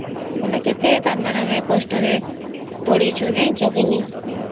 ବୋଲେ କେତେ ତାର ମାନେ ଆମେ କେତେ କଷ୍ଟ ରେ ପଡ଼ିଛୁ ଜାଣିଛ କି ନାହିଁ